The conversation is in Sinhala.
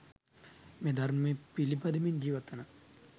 මෙය ධර්මය පිළිපදිමින් ජීවත්වන